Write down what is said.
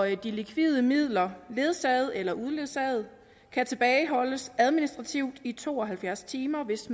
likvide midler ledsagede eller uledsagede kan tilbageholdes administrativt i to og halvfjerds timer hvis